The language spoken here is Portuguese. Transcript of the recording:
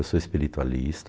Eu sou espiritualista,